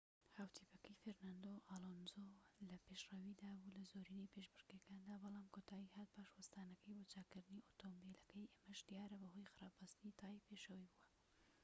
هاوتیپەکەی فێرناندۆ ئالۆنزۆ لە پێشڕەویدا بوو لە زۆرینەی پێشبڕكێکەدا بەڵام کۆتایی هات پاش وەستانەکەی بۆ چاککردنی ئۆتۆمبیلەکەی ئەمەش دیارە بەهۆی خراپ بەستنی تایەی پێشەوەی بووە